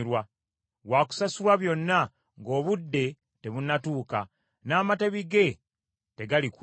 Wa kusasulwa byonna ng’obudde tebunnatuuka, n’amatabi ge tegalikula.